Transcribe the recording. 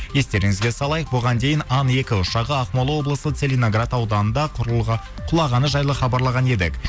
естеріңізге салайық бұған дейін ан екі ұшағы ақмола облысы целинаград ауданында құлағаны жайлы хабарлаған едік